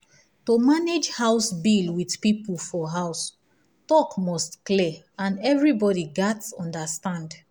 to manage house bill with people for house talk must clear and everybody gats understand.